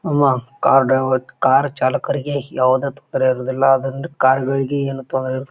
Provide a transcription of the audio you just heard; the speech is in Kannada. ನಮ್ಮ ಕಾರ್ ಡ್ರೈವರ್ ಕಾರ್ ಚಾಲಕರಿಗೆ ಯಾವುದೇ ತೊಂದರೆ ಇರುವುದಿಲ್ಲಾ ಅದರಿಂದ ಕಾರ್ ಗಳಿಗೆ ಏನು ತೊಂದರೆ--